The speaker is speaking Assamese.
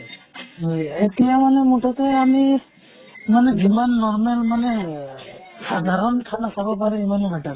হয় । এতিয়া মানে মুঠতে আমি যিমান normal মানে সাধাৰণ খানা খাব পাৰে সিমানেই better